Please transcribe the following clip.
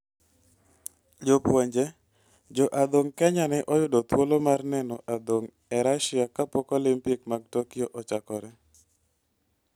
Jopuonje: Jo adhong ' Kenya ne oyudo thuolo mar neno adhong ' e Russia kapok Olimpik mar Tokyo ochakore